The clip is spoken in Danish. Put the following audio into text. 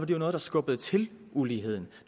jo noget der skubbede til uligheden